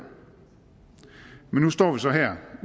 men nu står vi så her